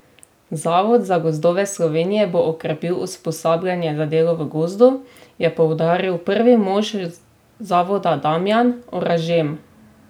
Zavod za gozdove Slovenije bo okrepil usposabljanje za delo v gozdu, je poudaril prvi mož zavoda Damjan Oražem.